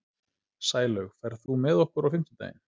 Sælaug, ferð þú með okkur á fimmtudaginn?